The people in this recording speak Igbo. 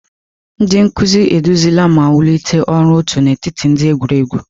Ndị nkuzi eduzila ma wulite ọrụ otu n'etiti ndị egwuregwu.